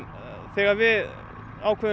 þegar við ákveðum